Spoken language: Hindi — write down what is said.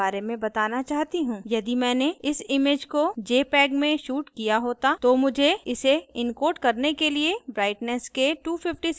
यदि मैंने इस image को jpeg में shot किया होता तो मुझे इसे इनकोड करने के लिए brightness के 256 चरण लेने पड़ेंगे